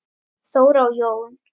Þóra og Jón.